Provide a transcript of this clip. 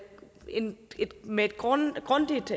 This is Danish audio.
med et grundigt grundigt